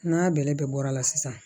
N'a bɛlɛ bɛɛ bɔra la sisan